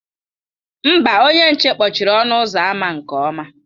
Mba, onye nche kpọchiri ọnụ ụzọ ámá nke ọma.